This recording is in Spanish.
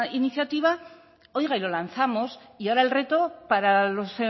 iniciativa oiga y lo lanzamos y ahora el reto para los